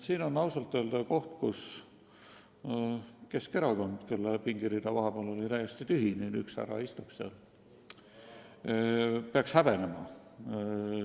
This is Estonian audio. See on ausalt öelda asi, mida Keskerakond – nende fraktsiooni pingirida oli vahepeal küll täiesti tühi, nüüd üks härra istub seal – peaks häbenema.